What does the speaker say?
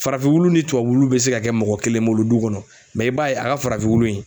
Farafin wulu ni tuwa wulu be se ka kɛ mɔgɔ kelen bolo du kɔnɔ i b'a ye a ka farafin wulu in